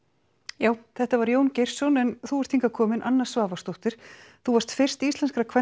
já þetta var Jón Geirsson en þú ert hingað komin Anna Svavarsdóttir þú varst fyrst íslenskra kvenna